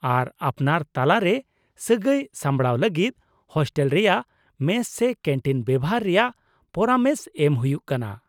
ᱟᱨ ᱟᱯᱱᱟᱨ ᱛᱟᱞᱟᱨᱮ ᱥᱟᱹᱜᱟᱹᱭ ᱥᱟᱢᱵᱲᱟᱣ ᱞᱟᱹᱜᱤᱫ ᱦᱳᱥᱴᱮᱞ ᱨᱮᱭᱟᱜ ᱢᱮᱥ ᱥᱮ ᱠᱮᱱᱴᱤᱱ ᱵᱮᱣᱦᱟᱨ ᱨᱮᱭᱟᱜ ᱯᱚᱨᱟᱢᱮᱥ ᱮᱢ ᱦᱩᱭᱩᱜ ᱠᱟᱱᱟ ᱾